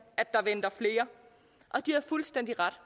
at der venter flere og de har fuldstændig ret